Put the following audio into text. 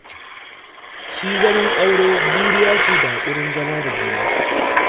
Shi zaman aure juriya ce da haƙurin zama da juna